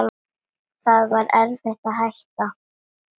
Það var erfitt að hætta.